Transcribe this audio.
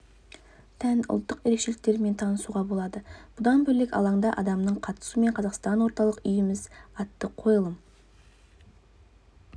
тән ұлттық ерекшеліктерімен танысуға болады бұдан бөлек алаңда адамның қатысуымен қазақстан ортақ үйіміз атты қойылым